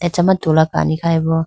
acha ma tula kani khayi bo.